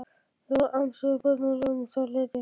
Þeir voru ansi uppveðraðir um það leyti.